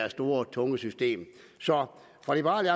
og tunge system så fra liberal